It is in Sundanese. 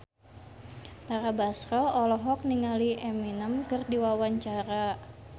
Tara Basro olohok ningali Eminem keur diwawancara